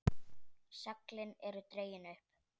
Seglin eru dregin upp.